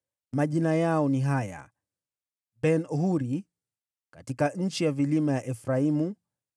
Majina yao ni haya: Ben-Huri: katika nchi ya vilima ya Efraimu;